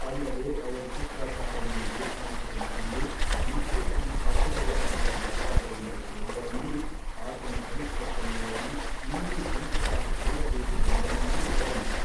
ಅಲ್ಲದೆ ಅವರು ಶುಕ್ರಾಚಾರ್ಯನನ್ನು ಏಕಾಂತದಲ್ಲಿ ಕಂಡು ಮತ್ತೆ ತಮ್ಮ ಅಭ್ಯುದಯಕಾಲವು ಯಾವಾಗ ಎಂದು ಕೇಳಿದರೆಂದೂ ಆತನು ಭವಿಷ್ಯತ್ತನ್ನು ನೋಡಿ ಇನ್ನೂ ಕೊಂಚ ಕಾಲ ಕಳೆಯಬೇಕು ಎಂದನೆಂದೂ ವದಂತಿ.